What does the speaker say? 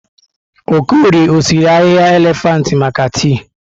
Okorie ọsiri ahịhịa elefantị maka tii?